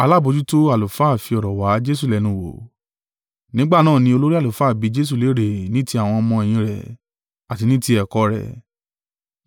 Nígbà náà ni olórí àlùfáà bi Jesu léèrè ní ti àwọn ọmọ-ẹ̀yìn rẹ̀, àti ní ti ẹ̀kọ́ rẹ̀.